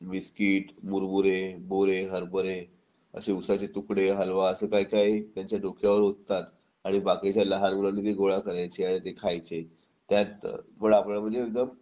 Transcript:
biscuit मुरमुरे मोरे हरभरे असे उसाचे तुकडे हलवा असं काही काही त्याच्या डोक्यावर ओततात आणि बाकीच्या लहान मुलांनी ती गोळा करायची आणि खायची त्यात पण आपण म्हणजे